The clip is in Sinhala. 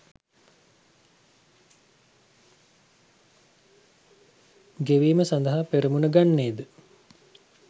ගෙවීම සඳහා පෙරමුණ ගන්නේද